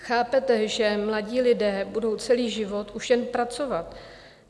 Chápete, že mladí lidé budou celý život už jen pracovat?